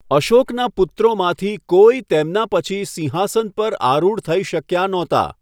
અશોકના પુત્રોમાંથી કોઈ તેમના પછી સિંહાસન પર આરૂઢ થઈ શક્યાં નહોતાં.